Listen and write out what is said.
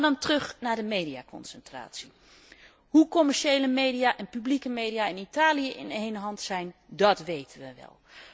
Maar dan terug naar de mediaconcentratie. Hoe commerciële media en publieke media in Italië in één hand zijn, dat weten we wel.